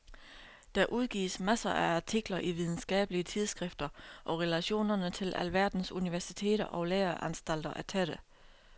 Der udgives masser af artikler i videnskabelige tidsskrifter og relationerne til alverdens universiteter og læreanstalter er tætte.